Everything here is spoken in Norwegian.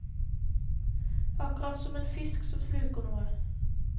Akkurat som en fisk som sluker noe.